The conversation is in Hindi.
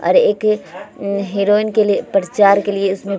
और एक हीरोइन के लिए प्रचार के लिए इसमें --